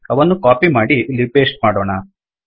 ಅವನ್ನು ಕಾಪಿ ಮಾಡಿ ಇಲ್ಲಿ ಪೇಸ್ಟ್ ಮಾಡೋಣ